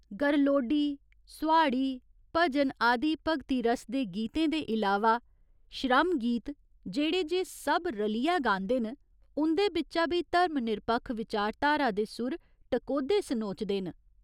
गरलोडी, सोहाड़ी, भजन आदि भगती रस दे गीतें दे इलावा श्रमगीत जेह्ड़े जे सब रलियै गांदे न, उं'दे बिच्चा बी धर्म निरपक्ख विचारधारा दे सुर टकोह्दे सनोचदे न।